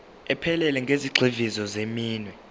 ephelele yezigxivizo zeminwe